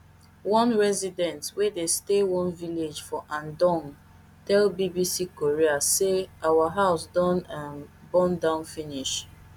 one resident wey dey stay one village for andong tell bbc korea say our house don um burn down finish